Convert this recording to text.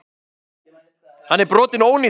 Hann er brotinn og ónýtur.